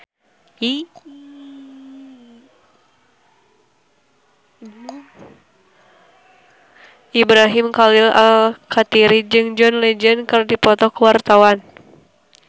Ibrahim Khalil Alkatiri jeung John Legend keur dipoto ku wartawan